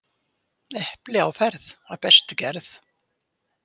Epli á ferð af bestu gerð.